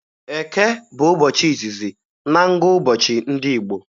Eke bụ ụbọchị izizi na ngụụbọchị ndị Igbo